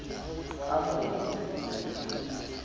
ka moya o motle ho